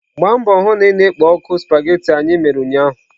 Gbaa mbọ hụ na ị na-ekpo ọkụ spaghetị anyị mere ụnyaahụ!.